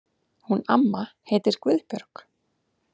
Hún amma heitir Guðbjörg.